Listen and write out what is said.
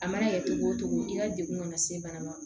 A mana kɛ cogo o cogo i ka degun ka na se bana ma